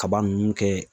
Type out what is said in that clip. Kaba nunnu kɛ